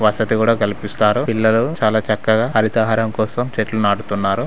వసతి కూడా కల్పిస్తారు. పిల్లలు చాలా చక్కగా హరితహారం కోసం చెట్లు నాటుతున్నారు.